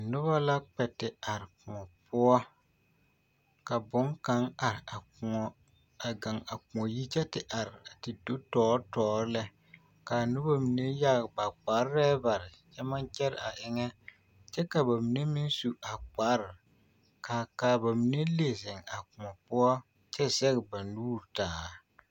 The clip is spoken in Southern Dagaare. Noba la kpɛ te are kõɔ poɔ ka boŋkaŋ are a kõɔ a gaŋ a kõɔ yi kyɛ te are te do tɔɔre tɔɔre lɛ k'a noba mine yage ba kparɛɛ bare kyɛ maŋ kyɛ a eŋɛ kyɛ ka bamine meŋ su a kpare k'a bamine le zeŋ a kõɔ poɔ kyɛ zɛge ba nuuri taa.